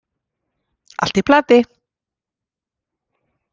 Allt í plati!